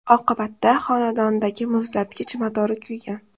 Oqibatda xonadonidagi muzlatgich motori kuygan.